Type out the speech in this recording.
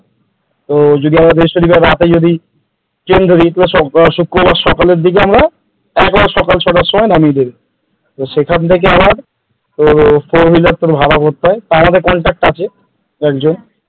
তো যদি বৃহস্পতিবার রাতে যদি ট্রেন ধরি শুক্রবার দিকে আমারা এক বারে সকাল ছ তার সমই নামিয়ে দেবে তোর সেখান থেকে আবার four wheeler ভাড়া করতে হয় আর তাও আমাদের contact আছে একজন,